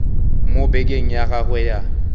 mo bekeng ya gagwe ya